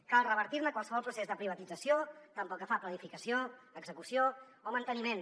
cal revertir ne qualsevol procés de privatització tant pel que fa a planificació com pel que fa a execució o manteniment